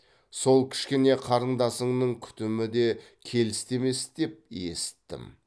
сол кішкене қарындасыңның күтімі де келісті емес деп есіттім